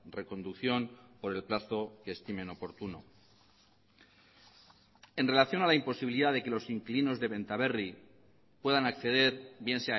reconducción por el plazo que estimen oportuno en relación a la imposibilidad de que los inquilinos de benta berri puedan acceder bien